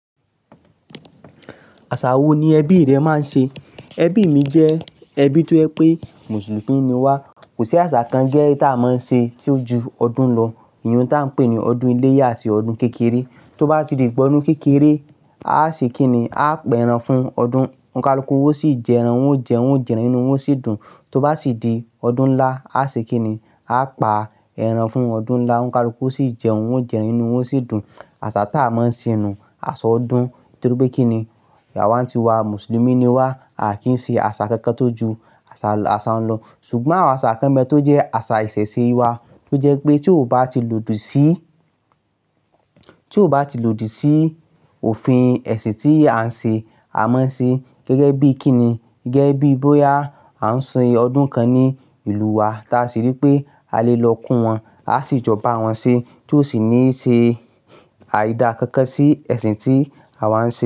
Àṣà wo ni ẹbí rẹ máa ń ṣe? Ẹbí mi jẹ́ ẹbí tó jẹ́ pé Mùsùlùmí ni wá, kò sí àṣà kan to jé tá a máa ń ṣe tí ó ju ọdún lọ, ìyẹn tá a ń pè ní ọdún iléyá àti ọdún kékeré. Tó bá ti di ìgbà ọdún kékeré, a ṣe kí ni, a pẹ ẹran fún ọdún, onkálukú wa ó sì jẹ ẹran, wọ́n jẹun, wọ́n jẹun, inú wọn sì dùn. Tó bá ti di ọdún ńlá, a ṣe kíni, a pa ẹran fún ọdún ńlá, oníkálukú sì jẹun, wọ́n jẹun ínú wọ́n sì dùn. Àṣà tá a máa ń ṣe nù aṣọ ọdún, nítorí pé kíni, ìyà wa ti wá Mùsùlùmí ni wá, a kì í ṣe àṣà kankan tó ju àṣà, àṣà ń lọ. Ṣùgbọ́n à àṣà kán bẹ tó jẹ́ àṣà ìṣẹ̀ṣe wa, tó jẹ́ pé tí ó bá ti lòdì sí, tí ó bá ti lòdì sí òfin ẹ̀sìn tí a ń ṣe, a máa ṣe gẹ́gẹ́ bíi kíni, gẹ́gẹ́ bíi bóyá a ń sin ọdún kan ní ìlú wa tí a sì rí pé a lè lọ kún wọn, a sì jọ ba wọn ṣe tó sì ní ṣe àyída kankan sí ẹ̀sìn tí àwa ń ṣe.